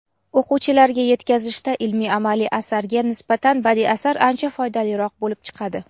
o‘quvchilarga yetkazishda ilmiy-amaliy asarga nisbatan badiiy asar ancha foydaliroq bo‘lib chiqadi.